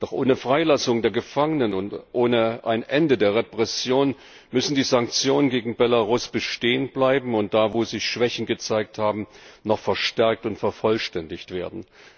Doch ohne Freilassung der Gefangenen und ohne ein Ende der Repression müssen die Sanktionen gegen Belarus bestehen bleiben, und da, wo sie Schwächen gezeigt haben, noch verstärkt und vervollständigt werden.